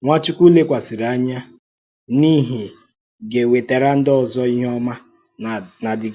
Nwàchùkwù lèkwàsìrì ànyà n’íhè gà-èwètàrà ndị òzò íhè ọ́ma na-adìgidè.